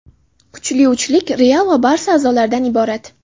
Kuchli uchlik "Real" va "Barsa" a’zolaridan iborat;.